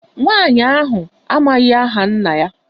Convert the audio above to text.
Nwaanyị ahụ amaghị aha nna ya.